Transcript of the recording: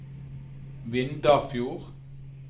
Vindafjord